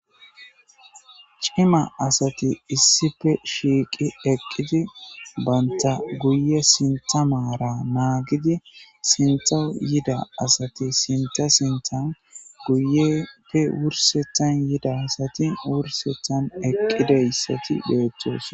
Cima asati issife shiiqi eqqidi baynta guye sinta maara naagidi sinta yida asati sinta sinta guyeppe wursettan yida asati wursettan eqqidayssati beettoos.